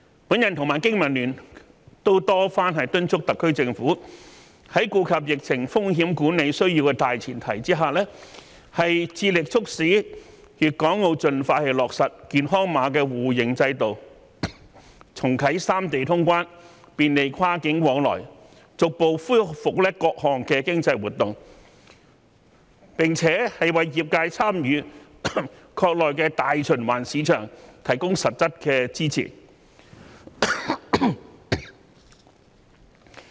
我和經民聯都多番敦促特區政府，在顧及疫情風險管理需要的大前提下，致力促使粵港澳盡快落實"健康碼"互認制度，重啟三地通關，便利跨境往來，逐步恢復各項經濟活動，並為業界參與"國內大循環市場"提供實質的支持。